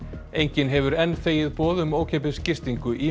enginn hefur enn þegið boð um ókeypis gistingu í